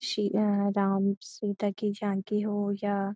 सि या राम सीता की झांकी हो या --